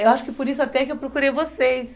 Eu acho que por isso até que eu procurei vocês.